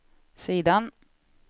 sidan